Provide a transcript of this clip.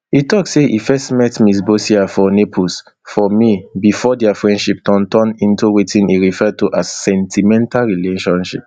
e tok say e first met ms boccia for naples for may bifor dia friendship turn turn into wetin e refer to as sentimental relationship